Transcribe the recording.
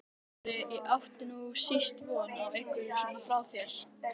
Smári, ég átti nú síst von einhverju svona frá þér!